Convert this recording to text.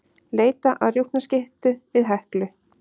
Leita að rjúpnaskyttu við Heklu